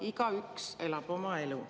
Igaüks elab oma elu.